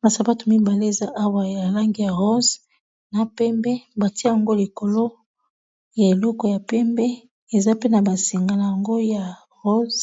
Ba sapato mibale eza awa ya langi ya rose na pembe batie yango likolo ya eleko ya pembe eza pe na ba singa na yango ya rose